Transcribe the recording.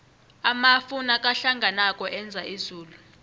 amafu nakahlanganako enza izulu